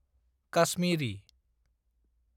Kashmiri